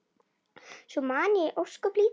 Svo man ég ósköp lítið.